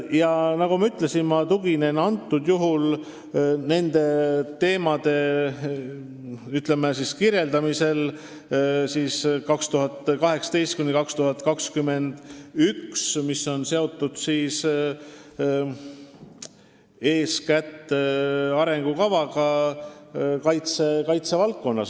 Ja nagu ma ütlesin, ma tuginen praegusel juhul nende teemade kirjeldamisel aastate 2018–2021 andmetele, mis on seotud eeskätt arengukavaga kaitsevaldkonnas.